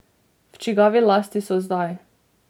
V čigavi lasti so zdaj?